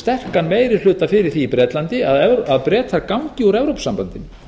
sterkan meiri hluta fyrir því í bretlandi að bretar gangi úr evrópusambandinu